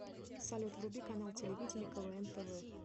салют вруби канал телевидения квн тв